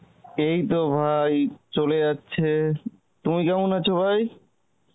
এই তো ভাই চলে যাচ্ছে, তুমি কেমন আছে৷ ভাই?